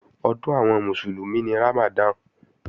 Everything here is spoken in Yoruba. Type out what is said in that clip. Ọdún àwọn Mùsùlùmí ni Ramadan